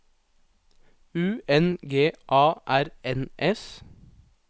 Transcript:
U N G A R N S